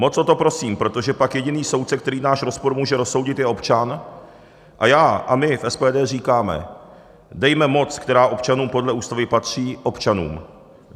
Moc o to prosím, protože pak jediný soudce, který náš spor může rozsoudit, je občan a já a my v SPD říkáme: Dejme moc, která občanům podle ústavy patří, občanům.